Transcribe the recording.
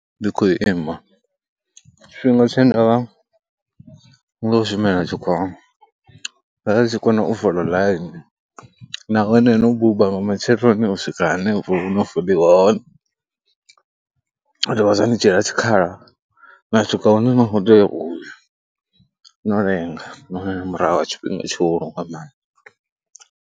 Ndi khou ima tshifhinga tshe nda vha ndi tshi khou shumela tshikhuwani, nda ndi tshi kona u fola ḽaini nahone no buba nga matsheloni u swika hanefho ho no foliwa hone, zwa dovha zwa ni dzhiela tshikhala na swika hune no tea u ya no lenga nahone nga murahu ha tshifhinga tshuhulu nga maanḓa.